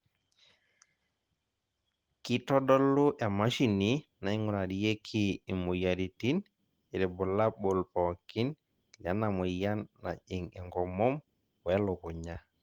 kitodolu e mashini naing'urarieki imoyiaritin irbulabol pookin lena moyian najing' enkomom we lukunya.